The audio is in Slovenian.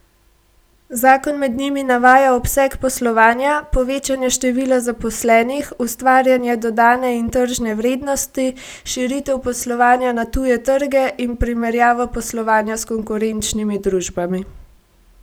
Zakon med njimi navaja obseg poslovanja, povečanje števila zaposlenih, ustvarjanje dodane in tržne vrednosti, širitev poslovanja na tuje trge in primerjavo poslovanja s konkurenčnimi družbami.